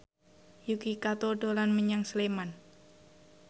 Yuki Kato dolan menyang Sleman